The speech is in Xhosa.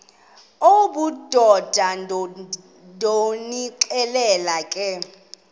obudoda ndonixelela ke